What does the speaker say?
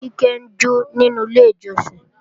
Kíkẹ́ ń jó nínú ilé ìjọsìn